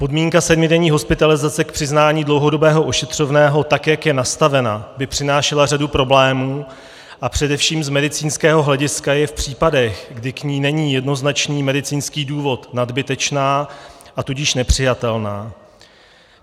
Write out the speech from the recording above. Podmínka sedmidenní hospitalizace k přiznání dlouhodobého ošetřovného, tak jak je nastavena, by přinášela řadu problémů a především z medicínského hlediska je v případech, kdy k ní není jednoznačný medicínský důvod, nadbytečná, a tudíž nepřijatelná.